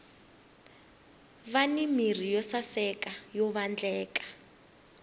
vani mirhi yo saseka yo vatleka